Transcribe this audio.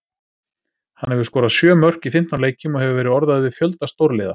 Hann hefur skorað sjö mörk í fimmtán leikjum og hefur verið orðaður við fjölda stórliða.